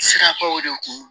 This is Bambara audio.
Sirabaw de kun